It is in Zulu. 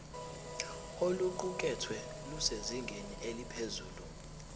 oluqukethwe lusezingeni eliphezulu